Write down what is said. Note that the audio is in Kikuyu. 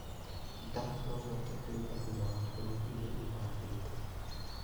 Ndaa norihote kuimba thutha wa kurĩa irio igandite